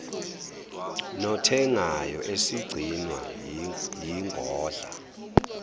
nothengayo esigcinwa yingodla